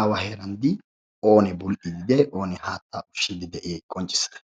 koyro go'iya gididi oonee haattaa ushiidi diyay qonccissa.